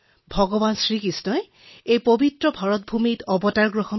ভাৰতক মহান কৰি তুলিছে কৃষ্ণই নিজে আৰু ইয়াত জন্ম হোৱা অৱতাৰবোৰে